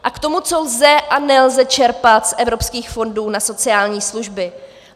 A k tomu, co lze a nelze čerpat z evropských fondů na sociální služby.